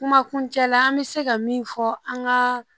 Kuma kuncɛ la an bɛ se ka min fɔ an ka